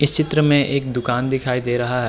इस चित्र मे एक दुकान दिखाई दे रहा है।